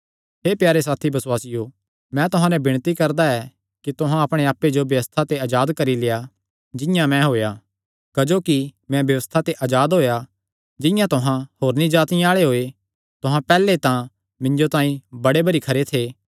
हे प्यारे साथी बसुआसियो मैं तुहां नैं विणती करदा ऐ कि तुहां अपणे आप्पे जो व्यबस्था ते अजाद करी लेआ जिंआं मैं होएया क्जोकि मैं व्यबस्था ते अजाद होएया जिंआं तुहां होरनी जातिआं आल़े होये तुहां पैहल्ले तां मिन्जो तांई बड़े भरी खरे थे